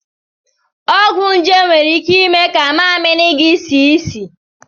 Ọgwụ nje nwere ike ime ka mmamịrị gị sie isi.